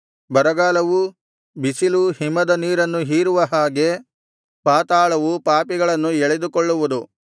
ಬರಗಾಲವೂ ಬಿಸಿಲೂ ಹಿಮದ ನೀರನ್ನು ಹೀರುವ ಹಾಗೆ ಪಾತಾಳವು ಪಾಪಿಗಳನ್ನು ಎಳೆದುಕೊಳ್ಳುವುದು